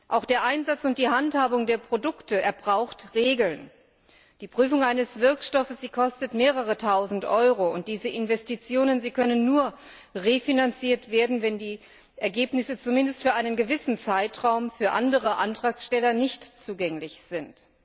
Auch der Einsatz und die Handhabung der Produkte brauchen Regeln. Die Prüfung eines Wirkstoffes kostet mehrere tausend Euro, und diese Investitionen können nur refinanziert werden, wenn die Ergebnisse zumindest für einen gewissen Zeitraum für andere Antragsteller nicht zugänglich sind.